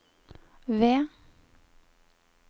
ved